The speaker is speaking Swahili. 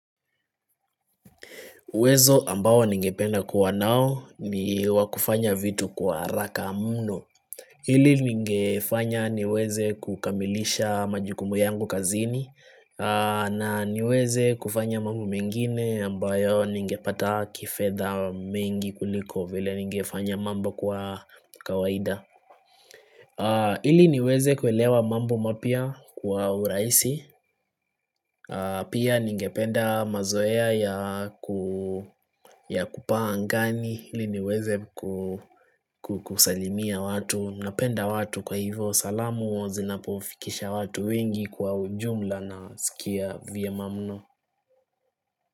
Uwezo ambao ningependa kuwa nao ni wa kufanya vitu kwa haraka mno. Ili lingefanya niweze kukamilisha majukumu yangu kazini na niweze kufanya mambo mengine ambayo ningepata kifedha mengi kuliko vile ningefanya mambo kwa kawaida. Ili niweze kuelewa mambo mapya kwa urahisi Pia ningependa mazoea ya ya kupaa angani ili niweze kusalimia watu Napenda watu kwa hivyo salamu Zinapofikisha watu wingi kwa ujumla nasikia vyema mno.